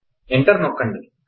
enter నొక్కండి